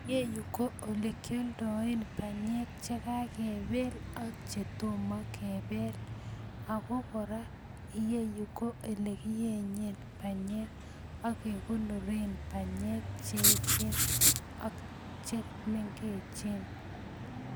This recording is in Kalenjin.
Iyeyu ko olekyolndoen banyek chekakebel ak chetomo kebel, ako kora iyeyu ko elekieny banyek ak kekonoren banyek cheechen ak chemengechen.